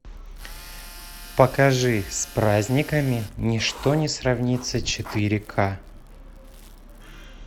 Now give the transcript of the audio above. покажи с праздниками ничто не сравнится четыре к